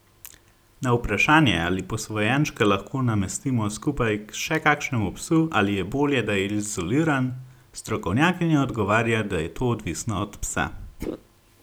Na vprašanje, ali posvojenčka lahko namestimo skupaj k še kakšnemu psu ali je bolje, da je izoliran, strokovnjakinja odgovarja, da je to odvisno od psa.